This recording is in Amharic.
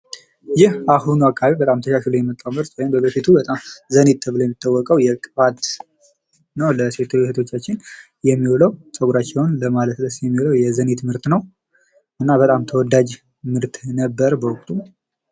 ይህ በአሁኑ በጣም ተሻሽሎ የመጣው በፊት አካባቤ ዘኒት ተብሎ የሚታወቀው ነው። ለሴት እህቶቻችን የሚውለው ጸጉራችን ለማለስለስ ነው የሚዉለው ይሄ ዘኒት ምርት ነው። እና በጣም ተወዳጅ ምርት ነበር በወቅቱ።